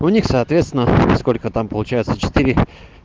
у них соответственно сколько там получается четыре